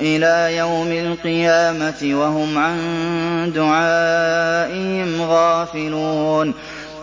إِلَىٰ يَوْمِ الْقِيَامَةِ وَهُمْ عَن دُعَائِهِمْ غَافِلُونَ